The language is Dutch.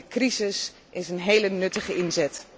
De crisis is een hele nuttige inzet.